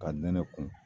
Ka nɛnɛ kun